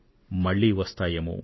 మళ్లీ వస్తుంది ఏమో